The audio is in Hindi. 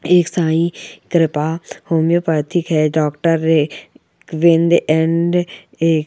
एक साई कृपा होमएओपथिक के डॉक्टर है बिंदी अंडे ए--